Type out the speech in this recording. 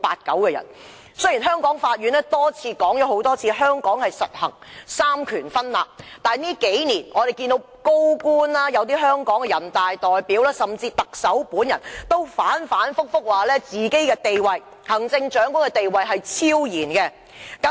雖然香港法院多次指出，香港實行三權分立，但這數年來，多位高官、香港人大代表，甚至特首本人更反覆說行政長官地位超然。